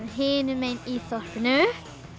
hinum megin í þorpinu